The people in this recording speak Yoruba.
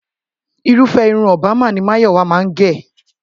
Irúfẹ́ irun Obama ni Máyọ̀wá máa ń gẹ̀